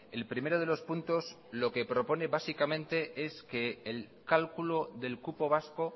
el primero de los puntos lo que propone básicamente se que el cálculo del cupo vasco